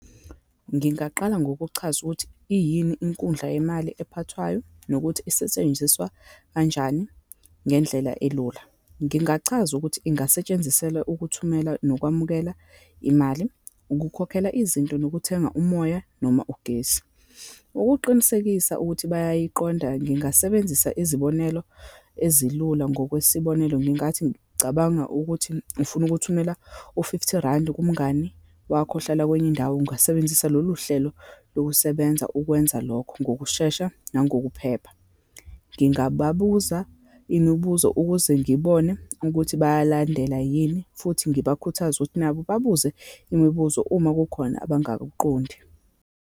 Ngingaqala ngokuchaza ukuthi, iyini inkundla yemali ephathwayo, nokuthi isetshenziswa kanjani, ngendlela elula. Ngingachaza ukuthi angasetshenziselwa ukuthumela nokwamukela imali, ukukhokhela izinto, nokuthenga umoya, noma ugesi. Ukuqinisekisa ukuthi bayayiqonda, ngingasebenzisa izibonelo ezilula ngokwesibonelo, ngingathi, cabanga ukuthi ufuna ukuthi ukuthumela u-fifty randi kumngani wakho ohlala kwenye indawo, ungasebenzisa loluhlelo lokusebenza ukwenza lokho ngokushesha nangokuphepha. Ngingababuza imibuzo ukuze ngibone ukuthi bayalandela yini, futhi ngibakhuthaze ukuthi nabo babuze imibuzo uma kukhona abangakuqondi.